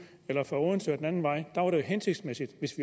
eller fra odense og den anden vej der var det jo hensigtsmæssigt hvis